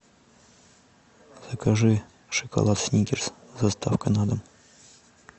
закажи шоколад сникерс с доставкой на дом